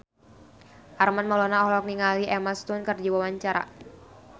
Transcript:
Armand Maulana olohok ningali Emma Stone keur diwawancara